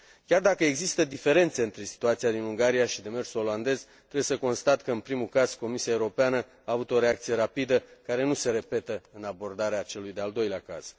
Chiar dacă există diferențe între situația din Ungaria și demersul olandez, trebuie să constat că, în primul caz, Comisia Europeană a avut o reacție rapidă, care nu se repetă în abordarea celui de al doilea caz.